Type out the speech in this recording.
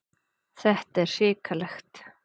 Þetta er hrikalegt.